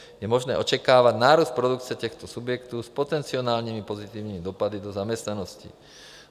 Je možné očekávat nárůst produkce těchto subjektů s potenciálními pozitivními dopady do zaměstnanosti.